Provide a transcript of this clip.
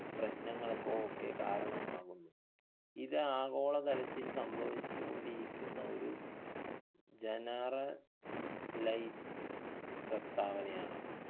പ്രശ്നങ്ങൾക്കോ ഒക്കെ കാരണമാകുന്നു ഇത് ആഗോളതലത്തിൽ സംഭവിച്ചു കൊണ്ടിരിക്കുന്ന ഒരു generalize പ്രസ്താവനയാണ്